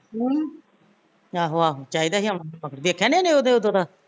ਹਮ ਚਾਹੀਦਾ ਸੀ ਆਉਣਾ ਵੇਖਿਆ ਨੀ ਉਹਨੇ ਉਹਦੇ ਉਦੋ ਦਾ